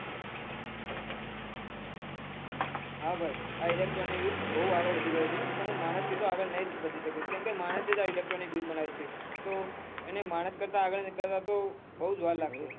હા ભાઈ આ electronic યુગ ખુબ આગળ વઘી રહ્યો છે પન માણસ થી તો આગળ ની વઘી સકે કેમકે કેમકે માણસે જ આ electronic યુગ બનાવીયો છે એને માણસ કરતા આગળ વાઘાવમાં બહુ જ વાર લાગશે